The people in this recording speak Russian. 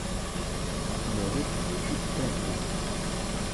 можешь включить фэнтези